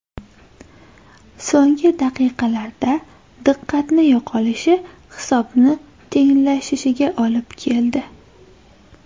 So‘nggi daqiqalarda diqqatni yo‘qolishi hisobni tenglashishiga olib keldi.